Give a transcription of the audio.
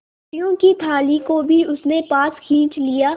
रोटियों की थाली को भी उसने पास खींच लिया